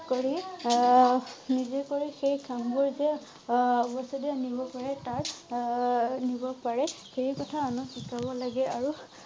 কৰি আহ নিজেই কৰি সেই কাম বোৰ যে আহ ভৱিষ্যতে আনিব পাৰে তাৰ আহ নিব পাৰে সেই কথা আনক শিকাব লাগে আৰু